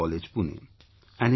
Medical College, Pune